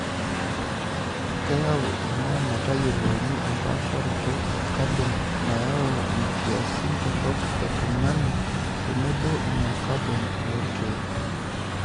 Keyau ena metayiolouni empaasharoto e kabon nayau nkiasin torok e tung'ani tenebo ina kabon oolkeek .